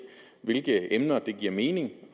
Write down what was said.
hvilke emner det giver mening